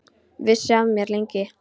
Vissi ekki af mér, lengi.